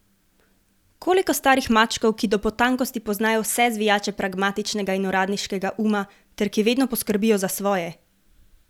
Koliko starih mačkov, ki do potankosti poznajo vse zvijače pragmatičnega in uradniškega uma ter ki vedno poskrbijo za svoje?